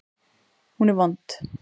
Hún er vond.